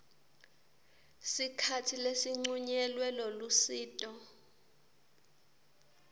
sikhatsi lesincunyelwe lolusito